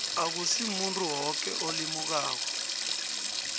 akusimuntu woke olimukako